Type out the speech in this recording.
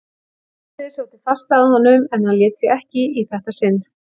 Hafliði sótti fast að honum en hann lét sig ekki í þetta sinn.